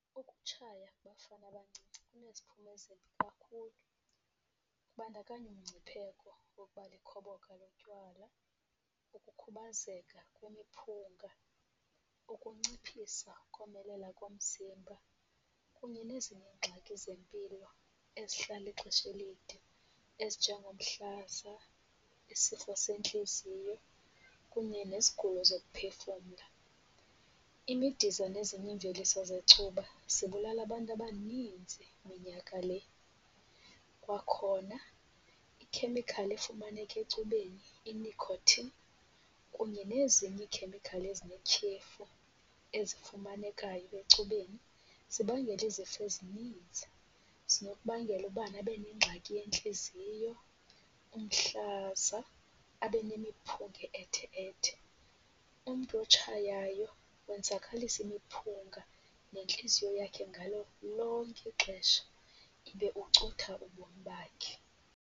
Ukutshaya kubafana abancinci kuneziphumo ezimbi kakhulu kubandakanya umngcipheko wokuba likhoboka lotywala, ukukhubazeka kwemiphunga, ukunciphisa ukomelela komzimba kunye nezinye iingxaki zempilo ezihlala ixesha elide ezinjengomhlaza, isifo sentliziyo kunye nezigulo zokuphefumla. Imidiza nezinye iimveliso zecuba zibulala abantu abaninzi minyaka le. Kwakhona ikhemikhali efumaneka ecubeni inikhothini kunye nezinye iikhemikhali ezinetyhefu ezifumanekayo ecubeni zibangela izifo ezininzi. Zinokubangela ubani abe nengxaki yentliziyo, umhlaza abe nemiphunga e-ethe ethe. Umntu otshayayo wenzakalisa imiphunga nentliziyo yakhe ngalo lonke ixesha, ibe ucutha ubomi bakhe.